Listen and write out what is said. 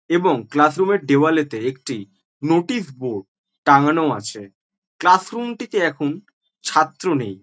এবং classroom -এর দেয়ালেতে একটি নোটিশ বোর্ড টাংগানো আছে ক্লাস রুম -টি তে এখন ছাত্র নেই ।